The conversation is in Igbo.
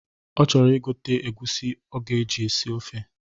Ọ chọrọ igote egwusi ọ ga-eji sie ofe.